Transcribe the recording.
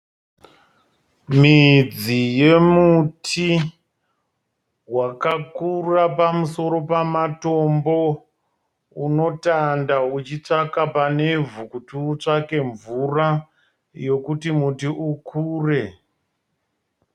Midzi yemuti wakakura pamusoro pematombo. Unotanda uchitsvaka pane vhuu kuti utsvake mvura yokuti muti ukure.